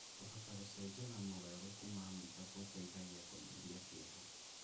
Kũhota gũcenjia na mogarũrũku ma maica gũteithagia kũnyihia kĩeha.